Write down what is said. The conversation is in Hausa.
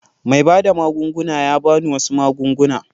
Mai bada magunguna ya ba ni wasu magunguna.